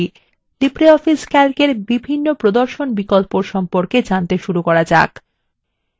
আসুন libreoffice calc এর বিভিন্ন প্রদর্শন বিকল্পর সম্পর্কে জানতে শুরু করা যাক